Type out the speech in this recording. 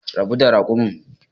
Rabu da raƙumin